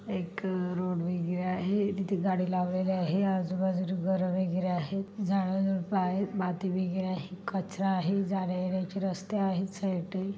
एक रोड वगैरे आहे तिथे गाडी लावलेले आहे. आजूबाजूला घर वगैरे आहेत झाडझुडप आहेत माती वगैरे आहे कचरा आहे. जाण्यायेण्याची रस्ते आहेत साइडनी .